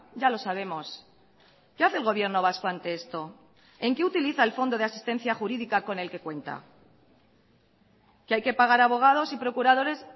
ya lo sabemos qué hace el gobierno vasco ante esto en qué utiliza el fondo de asistencia jurídica con el que cuenta que hay que pagar abogados y procuradores